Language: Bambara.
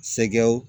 Sɛkɛw